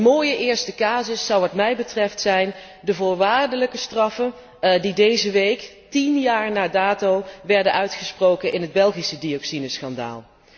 Een mooie eerste casus vormen wat mij betreft de voorwaardelijke straffen die deze week, tien jaar na dato, werden uitgesproken in het Belgische dioxineschandaal.